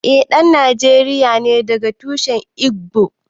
Eh ɗan Nijeriya ne daga tushen Igbo